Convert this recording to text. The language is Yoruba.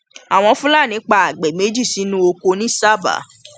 àwọn fúlàní pa àgbẹ méjì sínú ọkọ nìsábà